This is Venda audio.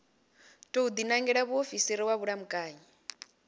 tou dinangela muofisiri wa vhulamukanyi